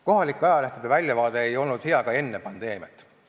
Kohalike ajalehtede väljavaade ei olnud hea ka enne pandeemiat.